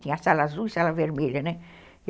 Tinha sala azul e sala vermelha, né?